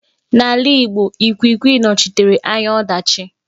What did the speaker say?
N'ala ịgbo, Ikwikwi nọchitere anya ọdachi.